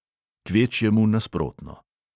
Kvečjemu nasprotno.